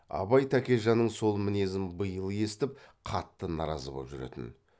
абай тәкежанның сол мінезін биыл естіп қатты наразы боп жүретін